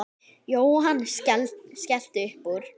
Jóhann skellti upp úr.